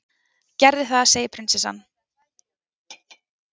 gerðu það, segir prinsessan.